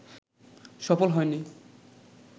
সফল হয়নি